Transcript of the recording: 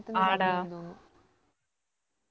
ആഡാ